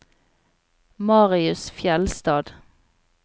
Marius Fjellstad